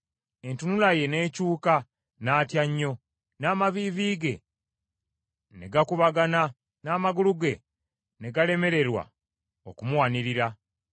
Entunula ye n’ekyuka, n’atya nnyo, n’amaviivi ge ne gakubagana n’amagulu ge ne galemererwa okumuwanirira.